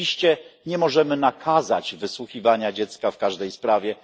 Oczywiście nie możemy nakazać wysłuchiwania dziecka w każdej sprawie.